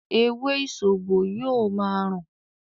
“ewé ìsòbò” yóò ma rùn.